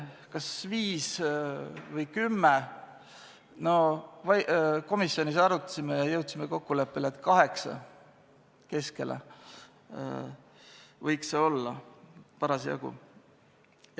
Kas viis või kümme – komisjonis me arutasime ja jõudsime kokkuleppele, et kaheksa võiks olla parasjagu.